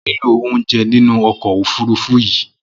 Mò niló óunjẹ̀ ninú ọkọ ófùrùfù yi